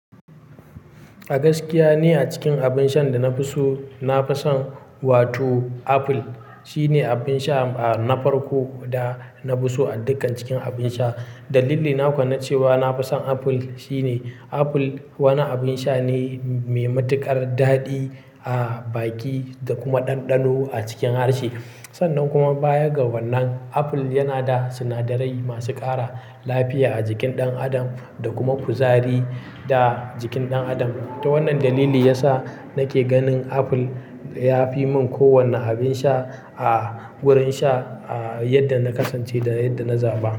A gaskiya ne a cikin abin sha da na fi so, na fi son wato apple. Shi ne abin sha na farko da na fi so a dukkan cikin abin sha. Dalili na kwana cewa na fi son apple shine apple wani abin sha ne mai matuƙar daɗi a baki da kuma ɗanɗano a cikin harshe. Sannan kuma baya ga wannan apple yana da sinadarai masu ƙara lafiya a jikin ɗan adam da kuma kuzari da jikin ɗan adam. To wannan dalili ya sa nake ganin apple ya fi min kowane abin sha a wurin sha, a yadda na kasance da yadda na zaɓa.